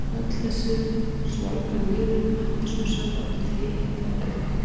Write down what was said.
Öllu er þessu svolgrað niður með appelsínusafa og tei eða kaffi.